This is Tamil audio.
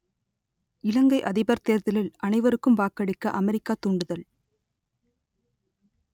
இலங்கை அதிபர் தேர்தலில் அனைவருக்கும் வாக்களிக்க அமெரிக்கா தூண்டுதல்